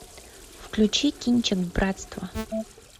включи кинчик братство